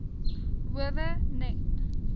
howe net